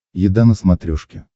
еда на смотрешке